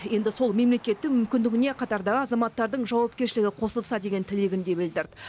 енді сол мемлекеттің мүмкіндігіне қатардағы азаматтардың жауапкершілігі қосылса деген тілегін де білдірді